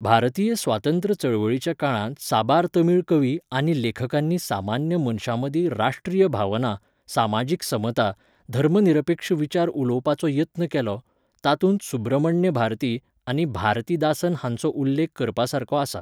भारतीय स्वातंत्र्य चळवळीच्या काळांत साबार तमिळ कवी आनी लेखकांनी सामान्य मनशामदीं राश्ट्रीय भावना, समाजीक समता, धर्मनिरपेक्ष विचार उलोवपाचो यत्न केलो, तातूंत सुब्रमण्य भारती आनी भारतीदासन हांचो उल्लेख करपासारको आसा.